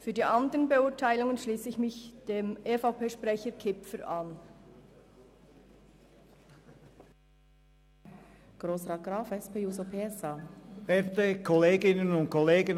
Was die Beurteilung der anderen Punkte betrifft, schliesse ich mich dem EVP-Sprecher, Grossrat Kipfer, an.